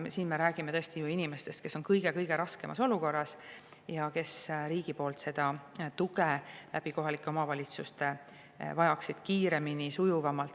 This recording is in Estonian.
Ja me räägime inimestest, kes on kõige raskemas olukorras ja vajavad riigilt tuge kohalike omavalitsuste kaudu kiiremini ja sujuvamalt.